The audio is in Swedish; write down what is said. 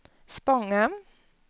Spånga